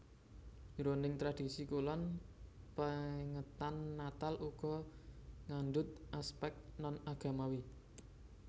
Jroning tradhisi kulon pèngetan Natal uga ngandhut aspèk non agamawi